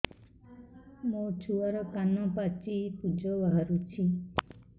ମୋ ଛୁଆର କାନ ପାଚି ପୁଜ ବାହାରୁଛି